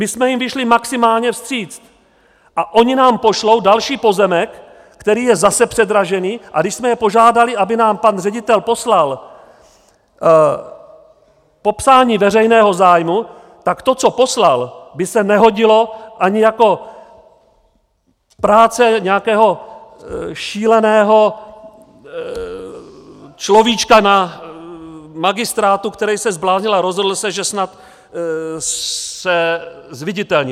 My jsme jim vyšli maximálně vstříc a oni nám pošlou další pozemek, který je zase předražený, a když jsme je požádali, aby nám pan ředitel poslal popsání veřejného zájmu, tak to, co poslal, by se nehodilo ani jako práce nějakého šíleného človíčka na magistrátu, který se zbláznil a rozhodl se, že snad se zviditelní.